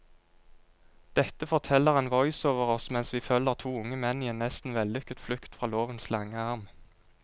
Dette forteller en voiceover oss mens vi følger to unge menn i en nesten vellykket flukt fra lovens lange arm.